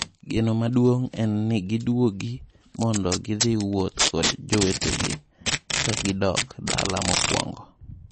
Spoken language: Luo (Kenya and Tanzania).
"Geno maduong' en ni giduogi mondo gidhii wuoth kod jowetegi kagidok dala mokwongo."